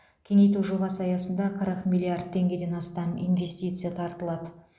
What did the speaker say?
кеңейту жобасы аясында қырық миллиард теңгеден астам инвестиция тартылады